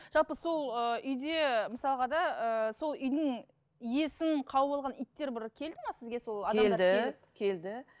жалпы сол ыыы үйде мысалға да ыыы сол үйдің иесін қауып алған иттер бір келді ме сізге сол келді келді